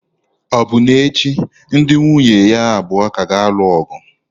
Ọbụna echi ndị nwunye ya abụọ ka ga-alụ ọgụ.